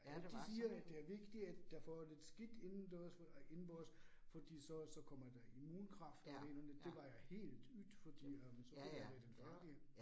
Ja, de siger, at det er vigtigere, at der får lidt skidt indendørs for indenbords fordi så så kommer der immunkraft og det ene og det var jo helt yt fordi øh, så kunne vi være med i den frakke